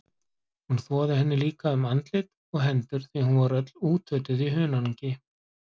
Hún þvoði henni líka um andlit og hendur því hún var öll útötuð í hunangi.